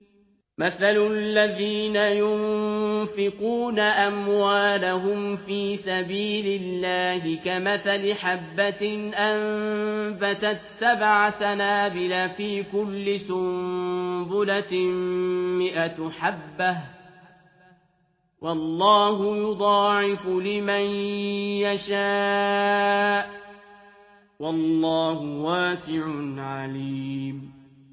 مَّثَلُ الَّذِينَ يُنفِقُونَ أَمْوَالَهُمْ فِي سَبِيلِ اللَّهِ كَمَثَلِ حَبَّةٍ أَنبَتَتْ سَبْعَ سَنَابِلَ فِي كُلِّ سُنبُلَةٍ مِّائَةُ حَبَّةٍ ۗ وَاللَّهُ يُضَاعِفُ لِمَن يَشَاءُ ۗ وَاللَّهُ وَاسِعٌ عَلِيمٌ